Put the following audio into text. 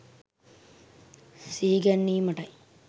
සිහි ගැන්වීමට යි.